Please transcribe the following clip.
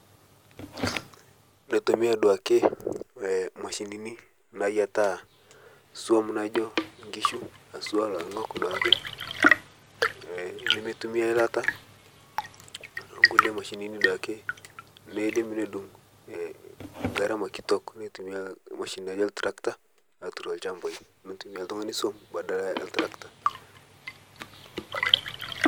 Motumi duake mashinini nayieetaa swam naijo nkishu haswa loingok duaake nemetumi eilata kulie mashinini duaake nedung ee ngarama kitok, neitumia mashinini oltrakta aturr ilshambaii neitumia oltungani swam badala oltrakta.